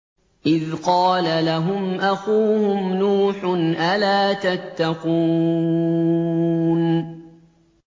إِذْ قَالَ لَهُمْ أَخُوهُمْ نُوحٌ أَلَا تَتَّقُونَ